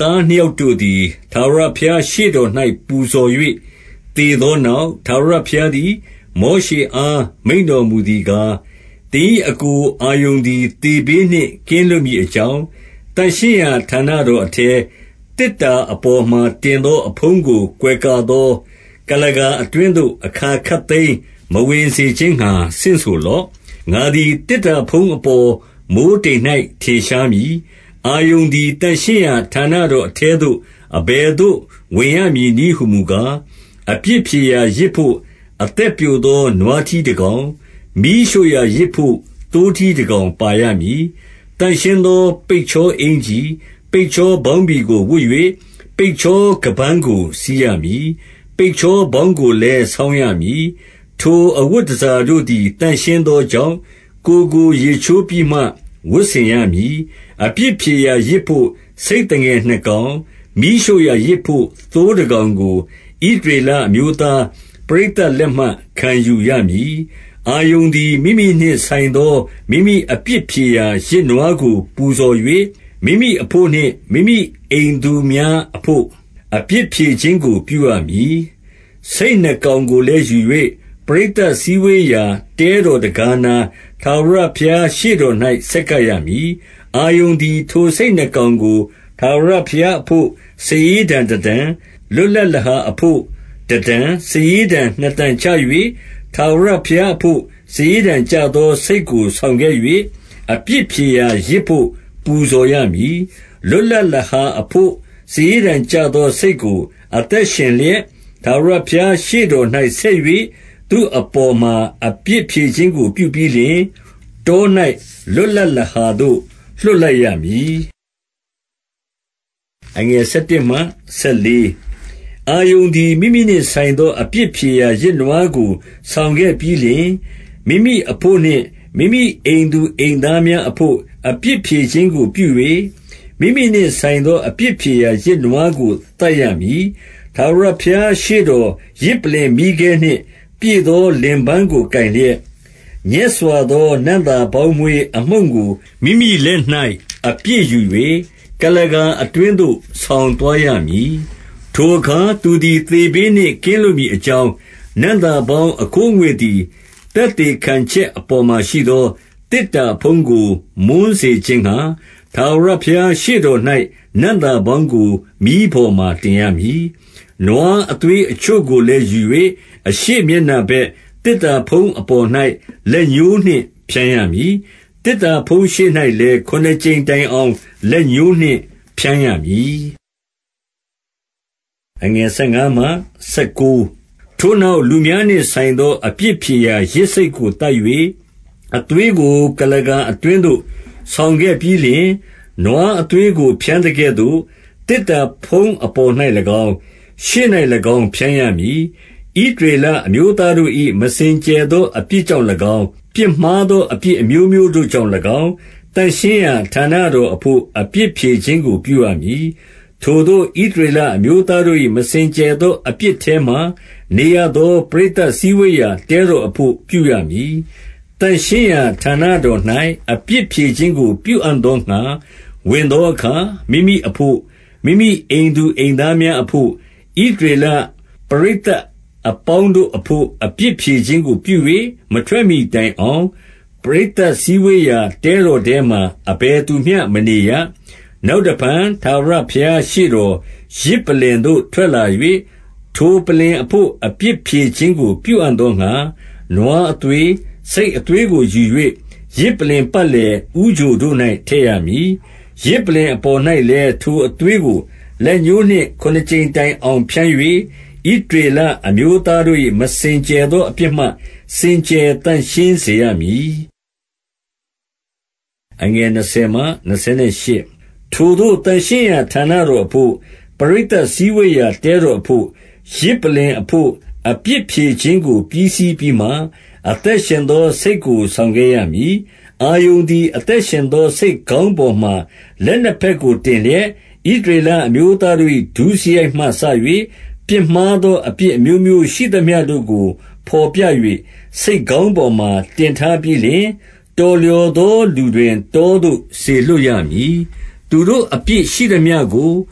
သားနှစ်ယောက်တို့သည်၊ ထာဝရဘုရားရှေ့တော်၌ ပူဇော်၍ သေသောနောက်၊ ထာဝရဘုရားသည် မောရှေအား မိန့်တော်မူသည်ကား၊- 2 သင်၏အစ်ကိုအာရုန်သည် သေဘေးနှင့်ကင်းလွတ်မည်အကြောင်း၊ သန့်ရှင်းရာဌာနတော်အထဲ၊ သေတ္တာအပေါ်မှာ တင်သောအဖုံးကို ကွယ်ကာသော ကုလားကာ အတွင်းသို့ အခါခပ်သိမ်း မဝင်စေ ခြင်းငှါ ဆင့်ဆိုလော့။ ငါသည် သေတ္တာအဖုံးအပေါ်၊ မိုဃ်းတိမ်၌ ထင်ရှားမည်။ 3 အာရုန်သည် သန့်ရှင်းရာဌာနတော်အထဲသို့ အဘယ်သို့ ဝင်ရမည်နည်းဟူမူကား၊ အပြစ်ဖြေရာယဇ် ဘို့ အသက်ပျိုသော နွားထီးတကောင်၊ မီးရှို့ရာယဇ်ဘို့ သိုးထီးတကောင် ပါရမည်။ 4 သန့်ရှင်းသော ပိတ်ချောအင်္ကျီ၊ ပိတ်ချောပေါင်းဘီကို ဝတ်၍၊ ပိတ်ချောခါးပန်းကို စည်းရမည်။ ပိတ်ချောဗေါင်းကိုလည်း ဆောင်းရမည်။ ထိုအဝတ်တန်ဆာတို့သည် သန့်ရှင်းသောကြောင့်၊ ကိုယ်ကို ရေချိုးပြီးမှ ဝတ်ဆင်ရမည်။ 5 အပြစ်ဖြေရာယဇ်ဘို့ ဆိတ်သငယ်နှစ်ကောင်၊ မီးရှို့ရာယဇ်ဘို့ သိုးတကောင်ကို၊ ဣသရေလအမျိုးသား ပရိသတ် လက်မှခံယူရမည်။ 6 အာရုန်သည် မိမိနှင့်ဆိုင်သော မိမိအပြစ်ဖြေရာယဇ်နွားကို ပူဇော်၍၊ မိမိအဘို့နှင့် မိမိအိမ်သူများ အဘို့ အပြစ်ဖြေခြင်းကို ပြုရမည်။ 7 ဆိတ်နှစ်ကောင်ကိုလည်းယူ၍ ပရိသတ်စည်းဝေးရာ တဲတော်တံခါးနား၊ ထာဝရဘုရား ရှေ့တော်၌ ဆက်ရမည်။ 8 အာရုန်သည် ထိုဆိတ်နှစ်ကောင်ကို ထာဝရဘုရားအဘို့ စာရေးတံတတံ၊ လွတ်လပ်လဟာအဘို့ တတံ၊ စာရေးတံနှစ်တံချ၍၊ 9 ထာဝရဘုရားအဘို့ စာရေးတံကျသော ဆိတ်ကို ဆောင်ခဲ့၍ အပြစ်ဖြေရာယဇ်ဘို့ ပူဇော်ရမည်။ 10 လွတ်လပ်လဟာအဘို့ စာရေးတံကျသော ဆိတ်ကို၊ အသက်ရှင်လျက် ထာဝရဘုရားရှေ့တော်၌ ဆက်၍၊ သူ့အပေါ်မှာ အပြစ်ဖြေခြင်းကို ပြုပြီးလျှင်၊ တော၌ လွတ်လပ်လဟာသို့ လွှတ်လိုက်ရမည်။ 11 အာရုန်သည် မိမိနှင့်ဆိုင်သော အပြစ်ဖြေရာယဇ်နွားကို ဆောင်ခဲ့ပြီးလျှင်၊ မိမိအဘို့နှင့် မိမိအိမ်သူ အိမ်သားများအဘို့ အပြစ်ဖြေခြင်းကို ပြု၍၊ မိမိနှင့်ဆိုင်သော အပြစ်ဖြေရာယဇ်နွားကို သတ်ရမည်။ 12 ထာဝရဘုရားရှေ့တော် ယဇ်ပလ္လင် မီးခဲနှင့် ပြည့်သောလင်ပန်းကို ကိုင်လျက်၊ ညက်စွာသော နံ့သာ ပေါင်းမွှေးအမှုန့်ကို မိမိလက်၌ အပြည့်ယူ၍၊ ကုလားကာအတွင်းသို့ ဆောင်သွားရမည်။ 13 ထိုအခါ သူသည်သေဘေးနှင့် ကင်းလွတ်မည်အကြောင်း၊ နံ့သာပေါင်းအခိုးအငွေ့သည် သက်သေခံ ချက် အပေါ်မှာရှိသော သေတ္တာအဖုံးကို မွှန်းစေခြင်းငှါ၊ ထာဝရဘုရားရှေ့တော်၌ နံ့သာပေါင်းကို မီးပေါ်မှာ တင်ရမည်။ 14 နွားအသွေးအချို့ကိုလည်း ယူ၍ အရှေ့မျက်နှာဘက် သေတ္တာဖုံးအပေါ်၌ လက်ညှိုးနှင့် ဖြန်းရမည်။ သေတ္တာဖုံး ရှေ့၌လည်း ခုနှစ်ကြိမ်တိုင်အောင် လက်ညှိုးနှင့်ဖြန်းရမည်။ 15 ထိုနောက် လူများနှင့်ဆိုင်သော အပြစ်ဖြေရာယဇ်ဆိတ်ကိုသတ်၍၊ အသွေးကို ကုလားကာအတွင်း သို့ ဆောင်ခဲ့ပြီးလျှင်၊ နွားအသွေးကို ဖြန်းသကဲ့သို့၊ သေတ္တာဖုံးအပေါ်၌၎င်း၊ ရှေ့၌၎င်း ဖြန်းရမည်။ 16 ဣသရေလအမျိုးသားတို့၏ မစင်ကြယ်သော အပြစ်ကြောင့်၎င်း၊ ပြစ်မှားသော အပြစ်အမျိုးမျိုးတို့ ကြောင့်၎င်း၊ သန့်ရှင်းရာ ဌာနတော်အဘို့ အပြစ်ဖြေခြင်းကို ပြုရမည်။ ထိုသို့ ဣသရေလအမျိုးသား တို့၏ မစင်ကြယ်သော အပြစ်ထဲမှာနေရသော ပရိသတ်စည်းဝေးရာ တဲတော်အဘို့ ပြုရမည်။ 17 သန့်ရှင်းရာဌာနတော်၌ အပြစ်ဖြေခြင်းကို ပြုအံ့သောငှါ ဝင်သောအခါ၊ မိမိအဘို့၊ မိမိအိမ်သူအိမ် သားများအဘို့၊ ဣသရေလပရိသတ်အပေါင်းတို့အဘို့၊ အပြစ်ဖြေခြင်းကိုပြု၍ မထွက်မှီတိုင်အောင်၊ ပရိသတ်စည်းဝေးရာ တဲတော်ထဲမှာ အဘယ်သူမျှ မနေရ။ 18 နောက်တဖန် ထာဝရဘုရားရှေ့တော် ယဇ်ပလ္လင်သို့ ထွက်လာ၍ ထိုပလ္လင်အဘို့ အပြစ်ဖြေခြင်းကို ပြုအံ့သောငှါ၊ နွားအသွေး၊ ဆိတ်အသွေးကိုယူ၍ ယဇ်ပလ္လင်ပတ်လည် ဦးချိုတို့၌ ထည့်ရမည်။ 19 ယဇ်ပလ္လင်အပေါ်၌လည်း ထိုအသွေးကို လက်ညှိုးနှင့် ခုနှစ်ကြိမ်တိုင်အောင် ဖြန်း၍ ဣသရေလ အမျိုးသားတို့၏ မစင်ကြယ်သောအပြစ်မှ စင်ကြယ်သန့်ရှင်းစေရမည်။ 20 ထိုသို့ သန့်ရှင်းရာ ဌာနတော်အဘို့၊ ပရိသတ်စည်းဝေးရာ တဲတော်အဘို့၊ ယဇ်ပလ္လင်အဘို့၊ အပြစ်ဖြေခြင်းကို ပြီးစီးပြီးမှ၊ အသက်ရှင်သော ဆိတ်ကို ဆောင်ခဲ့ရမည်။ 21 အာရုန်သည် အသက်ရှင်သော ဆိတ်ခေါင်းပေါ်မှာ လက်နှစ်ဘက်ကို တင်လျက်၊ ဣသရေလအမျိုး သားတို့၏ ဒုစရိုက်မှစ၍ ပြစ်မှားသောအပြစ် အမျိုးမျိုးရှိသမျှတို့ကို ဘော်ပြ၍၊ ဆိတ်ခေါင်းပေါ်မှာ တင်ထားပြီးလျှင်၊ တော်လျော်သော လူတွင် တောသို့ စေလွှတ်ရမည်။ 22 သူတို့အပြစ်ရှိသမျှကို၊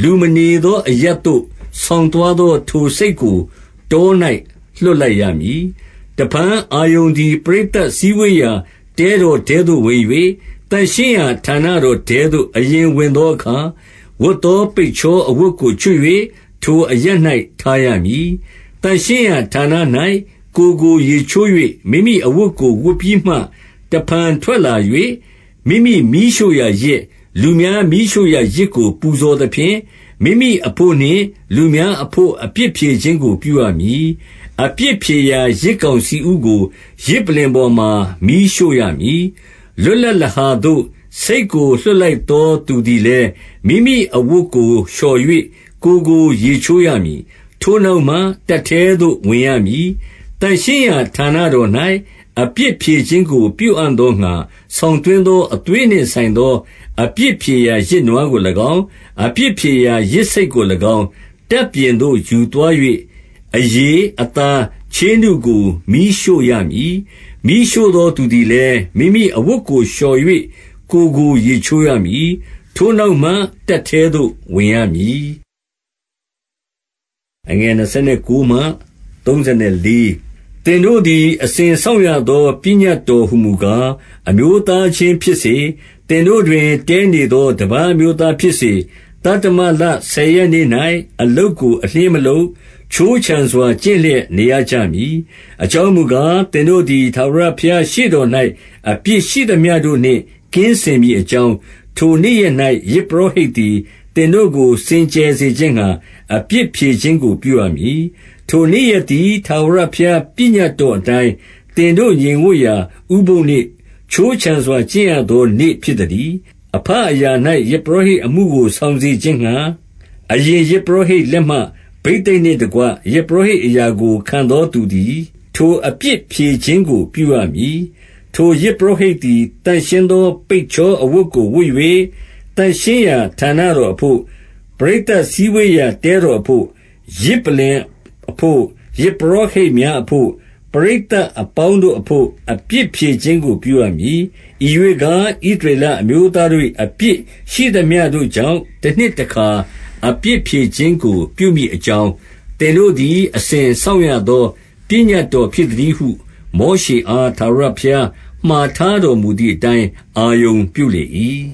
လူမနေသော အရပ်သို့ ဆောင်သွားသော ထိုဆိတ်ကို တော၌ လွှတ်လိုက်ရမည်။ 23 တဖန် အာရုန်သည် ပရိသတ်စည်းဝေးရာ တဲတော်ထဲသို့ဝင်၍၊ သန့်ရှင်းရာဌာနတော်ထဲသို့ အရင် ဝင်သောအခါ၊ ဝတ်သော ပိတ်ချော အဝတ်ကို ချွတ်၍ ထိုအရပ်၌ ထားရမည်။ 24 သန့်ရှင်းရာ ဌာန၌ ကိုယ်ကို ရေချိုး၍၊ မိမိအဝတ်ကို ဝတ်ပြီးမှ တဖန်ထွက်လာ၍၊ မိမိမီးရှို့ရာယဇ်၊ လူများမီးရှို့ရာယဇ်ကို ပူဇော်သဖြင့်၊ မိမိအဘို့နှင့် လူများအဘို့ အပြစ်ဖြေခြင်းကို ပြုရမည်။ 25 အပြစ်ဖြေရာ ယဇ်ကောင်ဆီဥကို ယဇ်ပလ္လင်ပေါ်မှာ မီးရှို့ရမည်။ 26 လွတ်လပ်လဟာသို့ ဆိတ်ကို လွှတ်လိုက်သောသူသည်လည်း မိမိအဝတ်ကို လျှော်၍ ကိုယ်ကို ရေချိုး ရမည်။ ထိုနောက်မှ တပ်ထဲသို့ ဝင်ရမည်။ 27 သန့်ရှင်းရာဌာနတော်၌ အပြစ်ဖြေခြင်းကို ပြုအံ့သောငှါ ဆောင်သွင်းသော အသွေးနှင့်ဆိုင်သော အပြစ်ဖြေရာယဇ်နွားကို၎င်း၊ အပြစ်ဖြေရာယဇ် ဆိတ်ကို၎င်း၊ တပ်ပြင်သို့ ယူသွား၍ အရေ၊ အသား၊ ချေးနုကို မီးရှို့ရမည်။ 28 မီးရှို့သောသူသည်လည်း မိမိအဝတ်ကို လျော်၍ ကိုယ်ကို ရေချိုးရမည်။ ထိုနောက်မှ တပ်ထဲသို့ ဝင်ရမည်။ 29 သင်တို့သည် အစဉ်စောင့်ရသော ပညတ်တော်ဟူမူကား၊ အမျိုးသားချင်းဖြစ်စေ၊ သင်တို့တွင် တည်းနေ သော တပါးအမျိုးသားဖြစ်စေ၊ သတ္တမလ ဆယ်ရက်နေ့၌ အလုပ်ကို အလျှင်းမလုပ်၊ ခြိုးခြံစွာ ကျင့်လျက်နေရကြမည်။ 30 အကြောင်းမူကား၊ သင်တို့သည် ထာဝရဘုရားရှေ့တော်၌ အပြစ်ရှိသမျှတို့နှင့် ကင်းစင်မည်အကြောင်း၊ ထိုနေ့ရက်၌ ယဇ်ပုရောဟိတ်သည် သင်တို့ကို စင်ကြယ်စေခြင်းငှါ၊ အပြစ်ဖြေခြင်းကို ပြုရမည်။ 31 ထိုနေ့ရက်သည် ထာဝရပညတ်တော်အတိုင်း၊ သင်တို့ ငြိမ်ဝပ်ရာ ဥပုသ်နေ့၊ ခြိုးခြံစွာကျင့်ရသော နေ့ ဖြစ်သတည်း။ 32 အဘအရာ၌ ယဇ်ပုရောဟိတ်အမှုကို ဆောင်စေခြင်းငှါ၊ အရင်ယဇ်ပုရောဟိတ်လက်မှ ဘိသိက်နှင့် တကွ ယဇ်ပုရောဟိတ်အရာကို ခံသောသူသည်၊ ထိုအပြစ်ဖြေခြင်းကို ပြုရမည်။ ထိုယဇ်ပုရောဟိတ် သည် သန့်ရှင်းသော ပိတ်ချောအဝတ်ကို ဝတ်၍၊- 33 သန့်ရှင်းရာဌာနတော်အဘို့၊ ပရိသတ်စည်းဝေးရာ တဲတော်အဘို့၊ ယဇ်ပလ္လင်အဘို့၊ ယဇ်ပုရောဟိတ် များအဘို့၊ ပရိသတ်အပေါင်းတို့အဘို့ အပြစ်ဖြေခြင်းကို ပြုရမည်။ 34 ဤရွေ့ကား၊ ဣသရေလအမျိုးသားတို့၏ အပြစ်ရှိသမျှတို့ကြောင့် တနှစ်တခါ အပြစ်ဖြေခြင်းကို ပြုမည်အကြောင်း၊ သင်တို့သည် အစဉ်စောင့်ရသော ပညတ်တော်ဖြစ်သတည်းဟု မောရှေအား ထာဝရဘုရားမှာထားတော်မူသည်အတိုင်း အာရုန်ပြုလေ၏။